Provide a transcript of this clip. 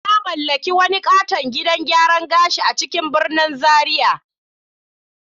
Na mallaki wani katon gidan gyaran gashi a cikin birnin Zaria.